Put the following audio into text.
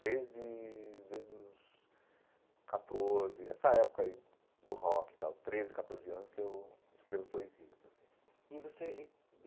Desde desde os catorze, essa época aí do rock tal, treze, catorze anos que eu escrevo poesias assim e você.